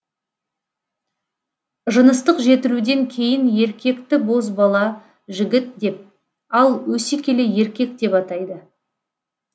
жыныстық жетілуден кейін еркекті бозбала жігіт деп ал өсе келе еркек деп атайды